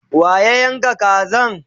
wa ya Yanka Kazan?